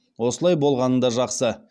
осылай болғаны да жақсы